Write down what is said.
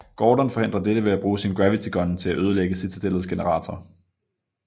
Gordon forhindrer dette ved at bruge sin gravity gun til at ødelægge Citadellets generator